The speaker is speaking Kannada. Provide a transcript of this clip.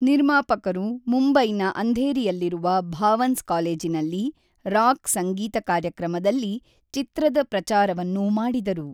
ನಿರ್ಮಾಪಕರು ಮುಂಬೈನ ಅಂಧೇರಿಯಲ್ಲಿರುವ ಭಾವನ್ಸ್ ಕಾಲೇಜಿನಲ್ಲಿ ರಾಕ್ ಸಂಗೀತ ಕಾರ್ಯಕ್ರಮದಲ್ಲಿ ಚಿತ್ರದ ಪ್ರಚಾರವನ್ನು ಮಾಡಿದರು.